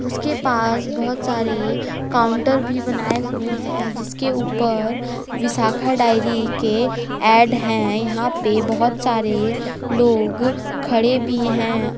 उसके पास बहुत सारे काउंटर भी बनाए हुए हैं जिसके ऊपर विशाखा डायरी के ऐड हैं यहां पे बहुत सारे लोग खड़े भी हैं औ--